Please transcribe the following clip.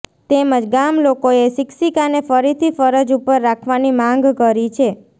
તેમજ ગામલોકોએ શિક્ષિકાને ફરીથી ફરજ ઉપર રાખવાની માંગ કરી છે